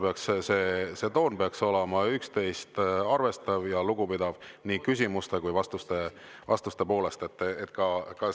See toon peaks olema üksteist arvestav ja üksteisest lugupidav nii küsimuste kui vastuste poolest.